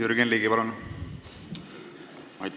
Jürgen Ligi, palun!